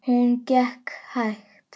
Hún gekk hægt.